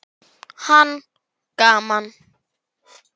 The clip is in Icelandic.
Hann: Gaman.